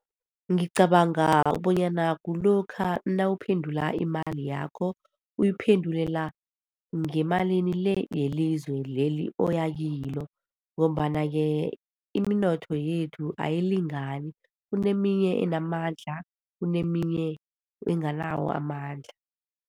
Ngicabanga bonyana kulokha nawuphendula imali yakho, uyiphendulela ngemalini le yelizwe leli oya kilo. Ngombana-ke iminotho yethu ayilingani. Kuneminye enamandla, kuneminye enganawo amandla.